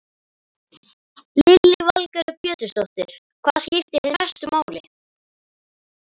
Lillý Valgerður Pétursdóttir: Hvað skiptir þig mestu máli?